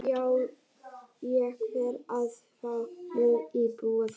Ég verð að fá mér íbúð þar.